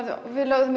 við lögðum